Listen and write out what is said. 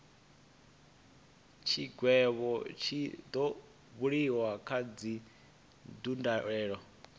tshigwevho tshi do buliwa kha dzindaulo